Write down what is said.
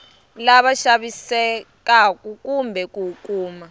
lava vavisekaku kumbe ku kuma